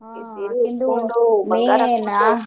ಹಾ.